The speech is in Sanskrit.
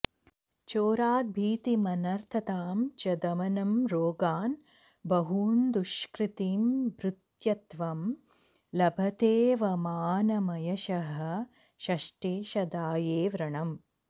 चोराद्भीतिमनर्थतां च दमनं रोगान् बहून्दुष्कृतिं भृत्यत्वं लभतेऽवमानमयशः षष्ठेशदाये व्रणम्